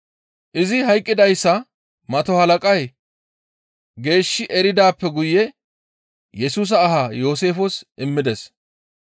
Izi hayqqidayssa mato halaqay geeshshi eridaappe guye Yesusa aha Yooseefes immides.